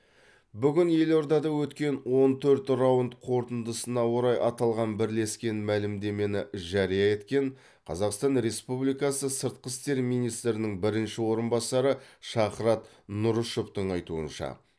бүгін елордада өткен он төрт раунд қорытындысына орай аталған бірлескен мәлімдемені жария еткен қазақстан республикасы сыртқы істер министрінің бірінші орынбасары шахрат нұрышевтің айтуынша